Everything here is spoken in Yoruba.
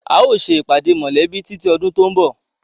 A ó ṣe ìpàdé mọ́lẹ̀bi títí ọdún tòun bọ̀.